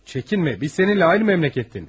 Çəkinmə, biz səninlə eyni məmləkətdənik.